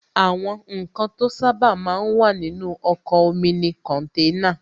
Àwọn ǹkan to sábà máa ń wà nínú ọkọ̀ omi ni kọ̀nténà